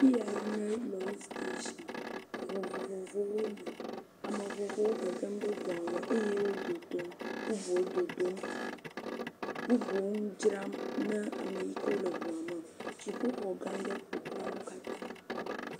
Fi yae nye lɔri steshin. Eŋu vovovowo li Ame vovovowo gegem ɖe ŋua me eye wo dodom. Bubuwo dodom. Bubuwo ŋu dzram na ame yi ke wole ŋua me. Dziƒoxɔga aɖe ƒoxlã wo katã.